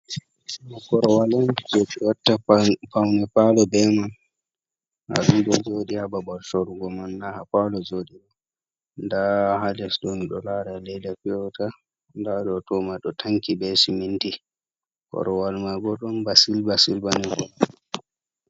Korwal on je ɓe watta paune palo be man ayi ɗo joɗi ha ha babal sorugo man na ha palo joɗi. Nda hales ɗoni ɗo lara leda fiya wata nda ɗo toma ɗo tanki be siminti. Korowal mai bo ɗon ba silba-silba ni.